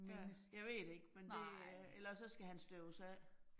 Ja, jeg ved det ikke. Men det øh ellers også så skal han støves af